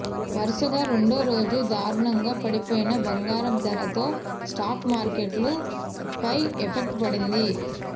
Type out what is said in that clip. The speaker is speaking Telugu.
వరుసగా రెండో రోజు దారుణంగా పడిపోయిన బంగారం ధర తో స్టాక్ మార్కెట్ల పై ఎఫెక్ట్ పడింది